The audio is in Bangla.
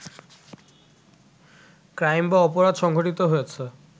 ক্রাইম বা অপরাধ সংঘটিত হয়েছে